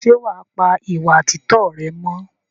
Ṣé wàá pa ìwà títọ́ rẹ mọ́?